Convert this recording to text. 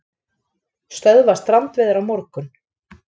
Stöðva strandveiðar á morgun